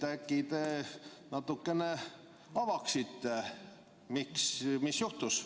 Äkki te natuke avaksite, mis juhtus.